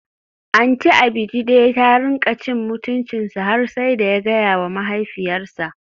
Aunty Abejide ta rinka cin mutuncinsa har sai da ya gayawa mahaifiyarsa.